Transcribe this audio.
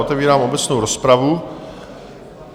Otevírám obecnou rozpravu.